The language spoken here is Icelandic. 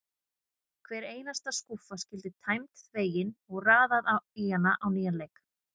Hver einasta skúffa skyldi tæmd, þvegin og raðað í hana á nýjan leik.